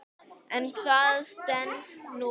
En það stenst nú varla.